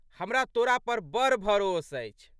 हमरा तोरा पर बड़ भरोस अछि।